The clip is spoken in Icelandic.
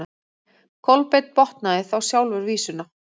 Kolbeinn botnaði þá sjálfur vísuna: